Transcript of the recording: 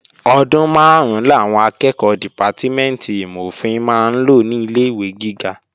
Ọdún máàrún làwọn akẹ́ẹ̀kọ́ dìpátímẹ̀ntì ìmọ̀-ofin máa ń lò ní ilé-ìwé gíga